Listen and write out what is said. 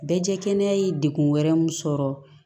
Bɛɛ jɛ kɛnɛya ye degun wɛrɛ min sɔrɔ